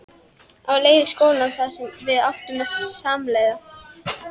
Á leið í skólann þar sem við áttum samleið.